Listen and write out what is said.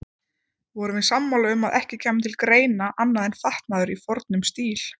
Vorum við sammála um að ekki kæmi til greina annað en fatnaður í fornum stíl.